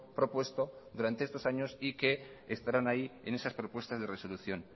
propuesto durante estos años y que estarán ahí en esas propuestas de resolución